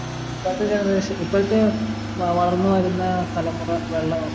ഇപ്പൾത്തെ generation ഇപ്പൾത്തെ ഏർ വളർന്നു വരുന്ന തലമുറ വെള്ളം